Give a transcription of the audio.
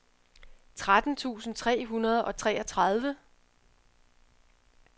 tretten tusind tre hundrede og treogtredive